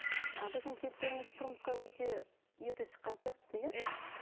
ы біздің кейіпкеріміз тұрмысқа өте ерте шыққан сияқты иә иә